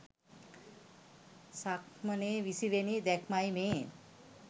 සක්මනේ 20 වෙනි දැක්මයි මේ.